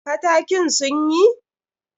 Katakin sun yi?